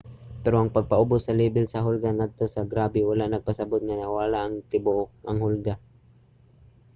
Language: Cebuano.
pero ang pagpaubos sa lebel sa hulga ngadto sa grabe wala nagpasabot nga ang nawala na ang katibuk-ang hulga.